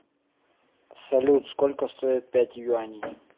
салют сколько стоит пять юаней